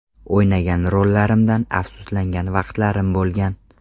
O‘ynagan rollarimdan afsuslangan vaqtlarim bo‘lgan.